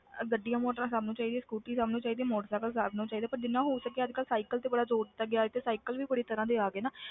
ਅਹ ਗੱਡੀਆਂ ਮੋਟਰਾਂ ਸਭ ਨੂੰ ਚਾਹੀਦੀ ਹੈ, ਸਕੂਟਰੀ ਸਭ ਨੂੰ ਚਾਹੀਦੀ ਹੈ, ਮੋਟਰ ਸਾਈਕਲ ਸਭ ਨੂੰ ਚਾਹੀਦਾ ਪਰ ਜਿੰਨਾ ਹੋ ਸਕੇ ਅੱਜ ਕੱਲ੍ਹ ਸਾਇਕਲ ਤੇ ਬੜਾ ਜ਼ੋਰ ਦਿੱਤਾ ਗਿਆ ਹੈ ਤੇ ਸਾਇਕਲ ਵੀ ਬੜੀ ਤਰ੍ਹਾਂ ਦੇ ਆ ਗਏ ਨਾ,